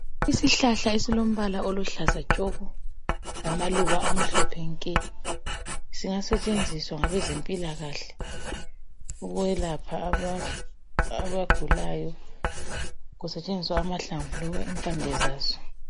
Isihlahla esilombala oluhlaza tshoko lamaluba amhlophe nke. Singasetshenziswa ngabezempilakahle, ukwelapha abagulayo, kusetshenziswa amahlamvu loba impande zaso.